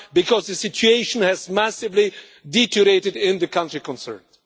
Because the situation has massively deteriorated in the country concerned.